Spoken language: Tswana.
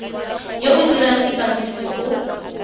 yo o dirang dipatlisiso o